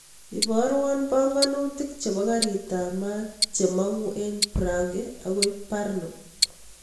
Ibarwan panganutik chepo karit ap maat che mangu en prague akoi brno